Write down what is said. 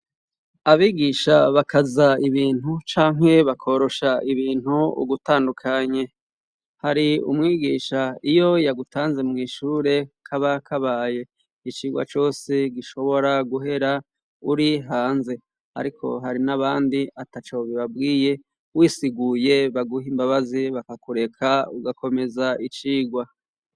abigisha bakaza ibintu cankwe bakorosha ibintu ugutandukanye hari umwigisha iyo yagutanze mwishure k'abakabaye icigwa cose gishobora guhera uri hanze ariko hari n'abandi atacobe babwiye wisiguye baguhe imbabazi bakakureka ugakomeza icigwa